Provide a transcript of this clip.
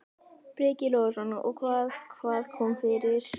Breki Logason: Og hvað, hvað kom fyrir?